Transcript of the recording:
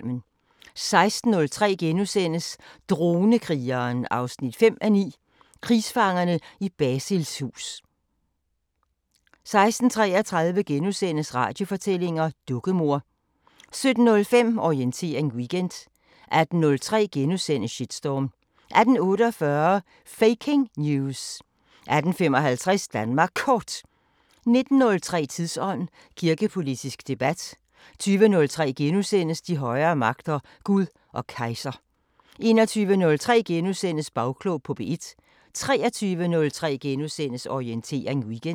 16:03: Dronekrigeren 5:9 – Krigsfangerne i Basils hus * 16:33: Radiofortællinger: Dukkemor * 17:05: Orientering Weekend 18:03: Shitstorm * 18:48: Faking News! 18:55: Danmark Kort 19:03: Tidsånd: Kirkepolitisk debat 20:03: De højere magter: Gud og kejser * 21:03: Bagklog på P1 * 23:03: Orientering Weekend *